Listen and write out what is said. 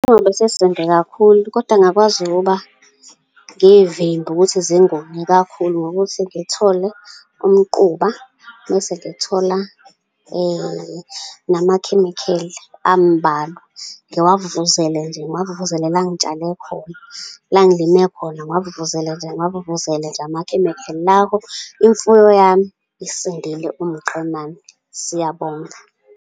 Kakhulu, kodwa ngingakwazi ukuba ngiy'vimbe ukuthi zingomi kakhulu, ngokuthi ngithole umquba, mese ngithola nama chemical ambalwa, ngiwavuvuzele nje, ngiwavuvuzele la ngitshale khona, la ngilime khona, ngiwavuvuzele nje, ngiwavuvuzele nje ama-chemical. Lapho imfuyo yami isindile, iwumqemane. Siyabonga.